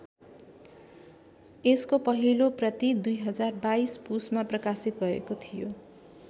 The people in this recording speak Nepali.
यसको पहिलो प्रति २०२२ पुसमा प्रकाशित भएको थियो।